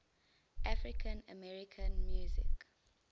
african american music